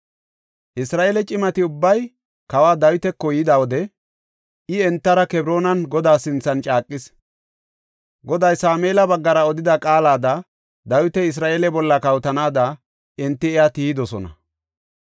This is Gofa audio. Isra7eele cimati ubbay kawa Dawitako yida wode I entara Kebroonan Godaa sinthan caaqis. Goday Sameela baggara odida qaalada Dawiti Isra7eele bolla kawotanaada enti iya tiyidosona.